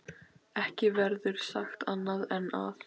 Ekki verður sagt annað en að